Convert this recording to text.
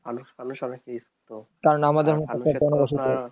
কারন আমাদের মতন এত